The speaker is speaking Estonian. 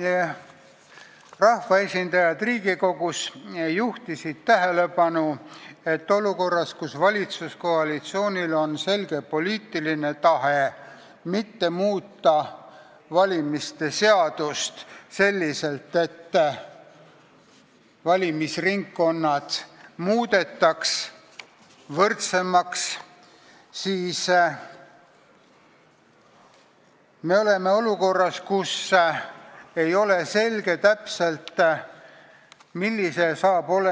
Vabaerakonna rahvaesindajad Riigikogus on juhtinud tähelepanu, et olukorras, kus valitsuskoalitsioonil on selge poliitiline tahe mitte muuta Riigikogu valimise seadust selliselt, et valimisringkonnad muudetaks võrdsemaks, ei ole täpselt selge, milline